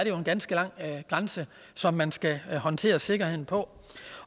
jo en ganske lang grænse som man skal håndtere sikkerheden på